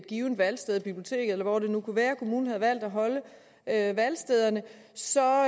givet valgsted et bibliotek eller hvor det nu kunne være kommunen havde valgt at have valgstederne så